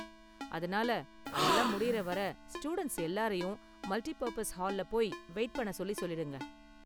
அதனால அதெல்லாம் முடியுற வரை ஸ்டூடண்ட்ஸ் எல்லாரையும் மல்டி பர்ப்பஸ் ஹால்ல போய் வெயிட் பண்ண சொல்லி சொல்லிருங்க.